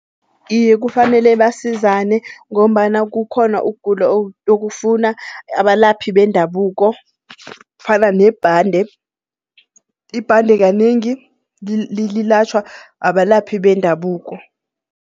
Iye kufanele basizane ngombana kukhona ukugula okufuna abalaphi bendabuko fana nebhande. Ibhande kanengi lilatjhwa abalaphi bendabuko.